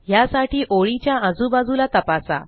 ह्यासाठी ओळीच्या आजूबाजूला तपासा